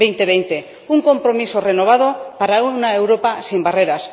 2020. Un compromiso renovado para una Europa sin barreras.